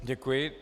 Děkuji.